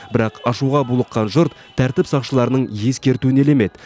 бірақ ашуға булыққан жұрт тәртіп сақшыларының ескертуін елемеді